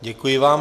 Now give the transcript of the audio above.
Děkuji vám.